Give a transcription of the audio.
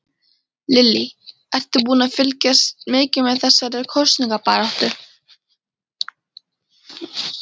Lillý: Ertu búinn að fylgjast mikið með þessari kosningabaráttu?